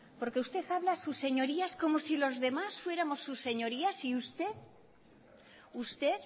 porque usted habla a sus señorías como si los demás fuéramos sus señorías y usted